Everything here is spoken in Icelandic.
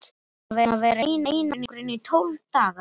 Ég er búinn að vera í einangrun í tólf daga.